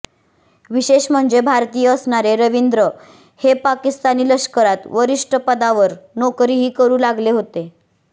विशेष म्हणजे भारतीय असणारे रवींद्र हे पाकिस्तानी लष्करात वरिष्ठ पदावर नोकरीही करू लागले होते